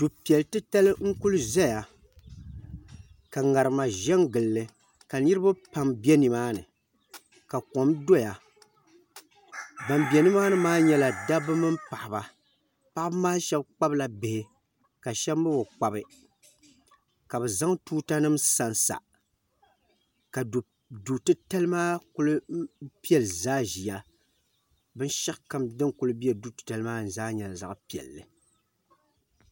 Du'piɛli titali n-kuli zaya ka ŋarima ʒe n-gili li ka niriba pam be nimaani ka kom doya ban be nimaani maa nyɛla dabba mini paɣiba paɣiba maa shɛba kpabila bihi ka shɛba mi bi kpabi ka bɛ zaŋ tuutanima sansa ka du'titali maa kuli piɛli zaa ʒiya binshɛɣu kam din kuli be du'titali maa ni nyɛla zaɣ'piɛlli.